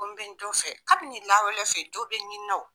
Ko n bɛ n jo fɛ kabini lawale fɛ ni bɛɛ ɲininaw